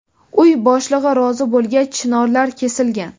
Uy boshlig‘i rozi bo‘lgach, chinorlar kesilgan.